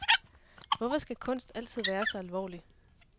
Hvorfor skal kunst altid være så alvorlig?